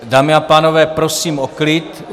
Dámy a pánové, prosím o klid.